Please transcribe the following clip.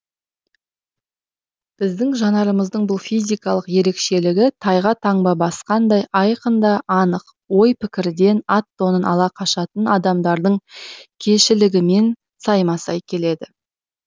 біздің жанарымыздың бұл физикалық ерекшелігі тайға таңба басқандай айқын да анық ой пікірден ат тонын ала қашатын адамдардың кеңшілігімен сайма сай келеді